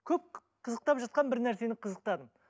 көп қызықтап жатқан бір нәрсені қызықтадым